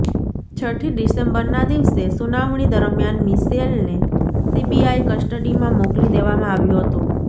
છઠ્ઠી ડિસેમ્બરના દિવસે સુનાવણી દરમિયાન મિશેલને સીબીઆઈ કસ્ટડીમાં મોકલી દેવામાં આવ્યો હતો